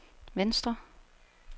venstre